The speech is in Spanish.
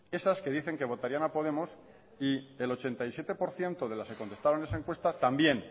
esas que dicen que votarían a podemos y el ochenta y siete por ciento de las que contestaban esa encuesta también